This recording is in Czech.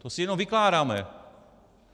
To si jenom vykládáme.